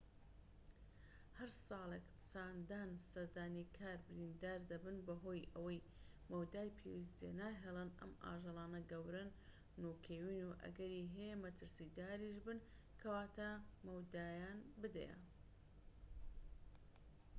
هەر ساڵێك چەندان سەردانیکار بریندار دەبن بەهۆی ئەوەی مەودای پێویست جێناهێڵن ئەم ئاژەلانە گەورەن و کێوین ئەگەری هەیە مەترسیداریش بن کەواتە مەودایان بدەیە